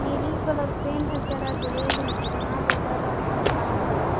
ನೀಲಿ colour paint ಹಚ್ಚಾರ್ ಬಿಳೀದ್ ಒಂದ್ ಸುಣ್ಣ ಬಳದರ ಅನ್ನಂಗ್ ಕಾಣಕತ್ತವ.